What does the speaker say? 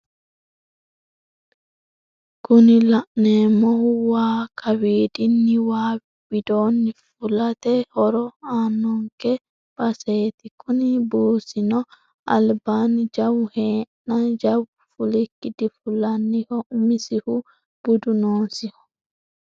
Kuni la'neemohu waa kawiidinni waa widoonni fukate horo aanonke buusaati kuni buusino albanni jawu heeenna jawu fulikki difullanniho umisihu budu noosiho.